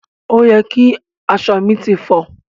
Òye ki aṣọ mi ti fọ.